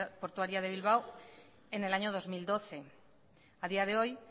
portuaria de bilbao en el año dos mil doce a día de hoy